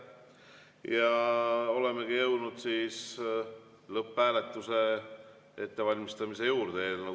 Olemegi jõudnud eelnõu 608 lõpphääletuse ettevalmistamise juurde.